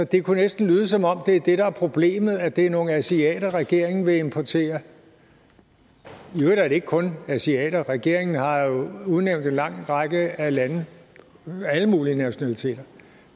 det kunne næsten lyde som om det er det der er problemet altså at det er nogle asiater regeringen vil importere i øvrigt er det ikke kun asiater regeringen har jo udnævnt en lang række af lande alle mulige nationaliteter